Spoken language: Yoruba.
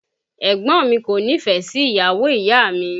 Ẹ̀gbọ́n mi kò nífẹ̀ẹ́ sí ìyàwó ìyá mi